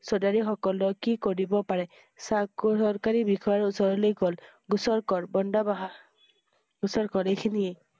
চৌধাৰীসকলৰ কি কৰিব পাৰে। চকু~চৰকাৰী বিষয়া ওচৰলৈ গ'ল। গোচৰ কৰ ।বন্দা~বাহ। গোচৰ কৰ এইখিনিয়ে